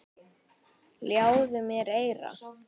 Ljáðu mér eyra.